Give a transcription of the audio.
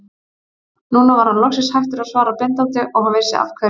Nú var hann loksins hættur að svara blindandi og hann vissi af hverju.